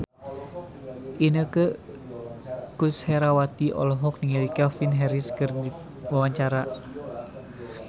Inneke Koesherawati olohok ningali Calvin Harris keur diwawancara